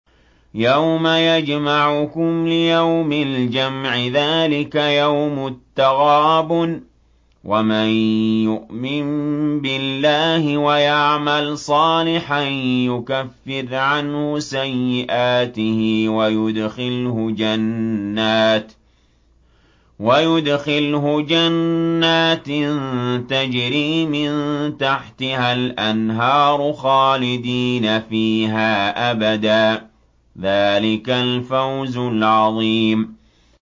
يَوْمَ يَجْمَعُكُمْ لِيَوْمِ الْجَمْعِ ۖ ذَٰلِكَ يَوْمُ التَّغَابُنِ ۗ وَمَن يُؤْمِن بِاللَّهِ وَيَعْمَلْ صَالِحًا يُكَفِّرْ عَنْهُ سَيِّئَاتِهِ وَيُدْخِلْهُ جَنَّاتٍ تَجْرِي مِن تَحْتِهَا الْأَنْهَارُ خَالِدِينَ فِيهَا أَبَدًا ۚ ذَٰلِكَ الْفَوْزُ الْعَظِيمُ